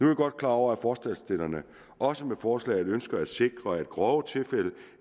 jeg godt klar over at forslagsstillerne også med forslaget ønsker at sikre at grove tilfælde